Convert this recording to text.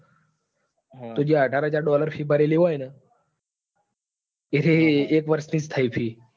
જ તો એ જે અઢાર હાજર dollar fee ભરેલી હોય ને? એક વર્ષ ની જ થઇ fee.